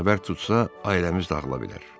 Xəbər tutsa, ailəmiz dağıla bilər.